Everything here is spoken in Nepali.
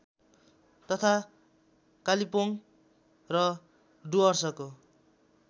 तथा कालिम्पोङ र डुअर्सको